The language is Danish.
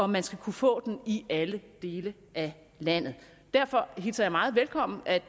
man skal kunne få den i alle dele af landet derfor hilser jeg meget velkommen at